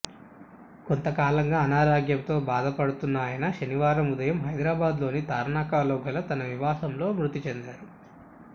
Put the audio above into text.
కొంతకాలంగా అనారోగ్యంతో బాధ పడుతున్న ఆయన శనివారం ఉదయం హైదరాబాద్లోని తార్నాకలో గల తన నివాసంలో మృతి చెందారు